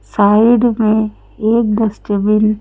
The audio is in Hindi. साइड में एक डस्टबिन --